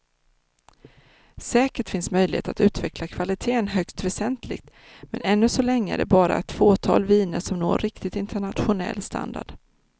Säkert finns möjligheter att utveckla kvaliteten högst väsentligt, men ännu så länge är det bara ett fåtal viner som når riktigt internationell standard.